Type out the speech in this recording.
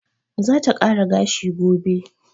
Za ta kara gashi gobe.